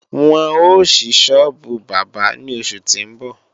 Wọn ó ṣí sọ́ọ́bù bábà ní oṣù tí ń bọ̀